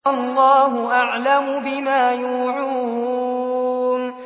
وَاللَّهُ أَعْلَمُ بِمَا يُوعُونَ